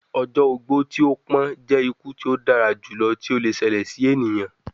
Ọjọ ogbó ti o pọn jẹ iku ti o dara julọ ti o le ṣẹlẹ si eniyan